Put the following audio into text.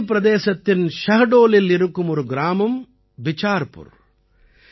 மத்திய பிரதேசத்தின் ஷஹ்டோலில் இருக்கும் ஒரு கிராமம் பிசார்புர்